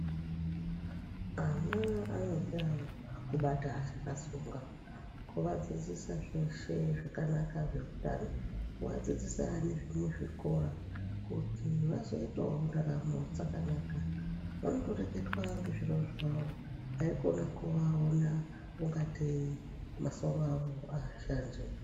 Ana anoda kubata achakatsonga, kuvadzidzisa zveshe zvakanaka zveutano, kuvadzidzisa nezvemuzvikora, kuti vazoitawo raramo dzakanaka, vanondoreketwa ngezviro zvavo, haikhona kuvaona ingateyi, masoro avo aashandi.